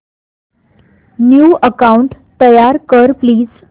new account तयार कर please